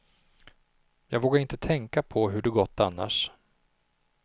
Jag vågar inte tänka på hur det gått annars.